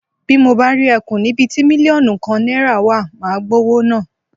Bí mo bá rí e̩kùn níbi ti mílíò̩nù kan náìràa wa, màá gbówó náà.